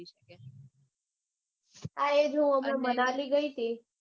હા એટલે હું મનાલી ગઈ તી